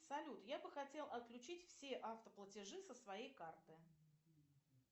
салют я бы хотел отключить все автоплатежи со своей карты